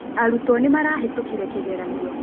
Arũto nĩmarahĩtũkĩre kĩgeranio